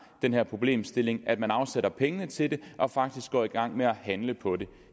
den her problemstilling at man afsætter pengene til det og faktisk går i gang med at handle på det